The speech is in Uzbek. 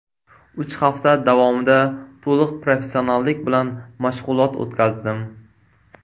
Uch hafta davomida to‘liq professionallik bilan mashg‘ulot o‘tkazdim.